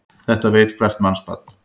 Þetta veit hvert mannsbarn.